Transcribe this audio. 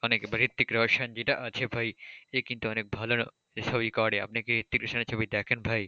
অনেক আবার ঋত্বিক রোশন যেটা আছে ভাই সে কিন্তু অনেক ভালোরকম ছবি করে, আপনি কি ঋত্বিক রোশনের ছবি দেখেন ভাই?